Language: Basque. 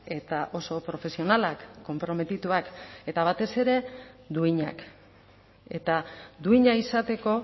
eta oso profesionalak konprometituak eta batez ere duinak eta duina izateko